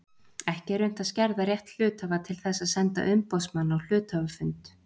Ekki er unnt að skerða rétt hluthafa til þess að senda umboðsmann á hluthafafund.